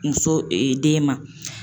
Muso den ma.